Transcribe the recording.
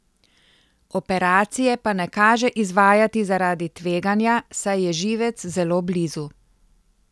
Operacije pa ne kaže izvajati zaradi tveganja, saj je živec zelo blizu.